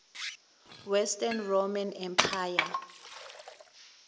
western roman empire